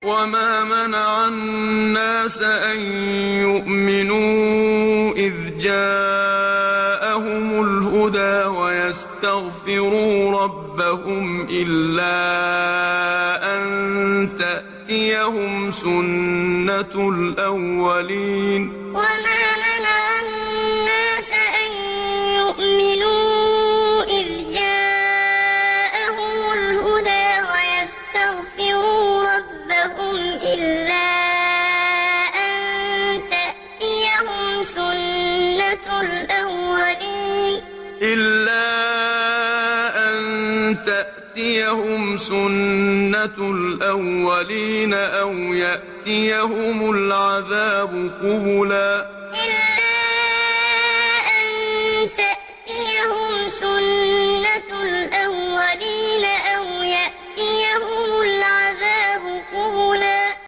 وَمَا مَنَعَ النَّاسَ أَن يُؤْمِنُوا إِذْ جَاءَهُمُ الْهُدَىٰ وَيَسْتَغْفِرُوا رَبَّهُمْ إِلَّا أَن تَأْتِيَهُمْ سُنَّةُ الْأَوَّلِينَ أَوْ يَأْتِيَهُمُ الْعَذَابُ قُبُلًا وَمَا مَنَعَ النَّاسَ أَن يُؤْمِنُوا إِذْ جَاءَهُمُ الْهُدَىٰ وَيَسْتَغْفِرُوا رَبَّهُمْ إِلَّا أَن تَأْتِيَهُمْ سُنَّةُ الْأَوَّلِينَ أَوْ يَأْتِيَهُمُ الْعَذَابُ قُبُلًا